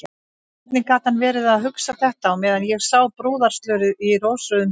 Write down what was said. Hvernig gat hann verið að hugsa þetta á meðan ég sá brúðarslörið í rósrauðum hillingum!